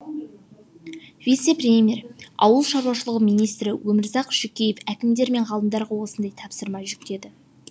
вице премьер ауыл шаруашылығы министрі өмірзақ шүкеев әкімдер мен ғалымдарға осындай тапсырма жүктеді